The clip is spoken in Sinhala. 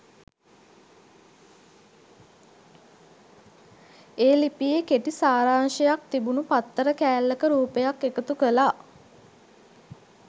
ඒ ලිපියේ කෙටි සාරාංශයක් තිබුණු පත්තර කෑල්ලක රූපයක් එකතු කළා.